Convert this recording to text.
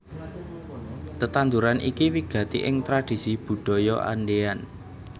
Tetanduran iki wigati ing tradhisi Budaya Andean